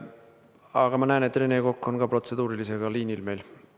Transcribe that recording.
Aga ma näen, et Rene Kokk on ka protseduurilise küsimusega liinil.